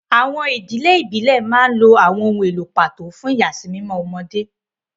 Àwọn ìdílé ìbílẹ̀ máa ń lo àwọn ohun èlò pàtó fún ìyàsímímọ́ ọmọdé.